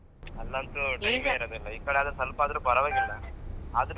ಅಲ್ಲಂತೂ daily ಇರೋದೇ ಈ ಕಡೆ ಆದ್ರೆ ಸ್ವಲ್ಪ ಆದ್ರೂ ಪರವಾಗಿಲ್ಲ.